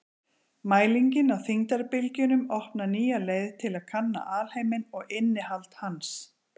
Mælingin á þyngdarbylgjunum opnar nýja leið til að kanna alheiminn og innihald hans.